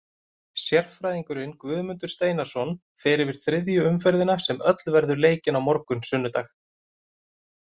Sérfræðingurinn Guðmundur Steinarsson fer yfir þriðju umferðina sem öll verður leikin á morgun sunnudag.